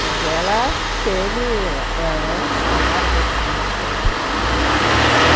Mas ela... teve... Era um salário, dois salários, sei lá. Uhum...